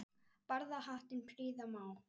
Barða hattinn prýða má.